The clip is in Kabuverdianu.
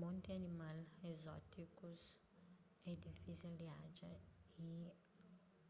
monti animal ezótikus é difisel di atxa y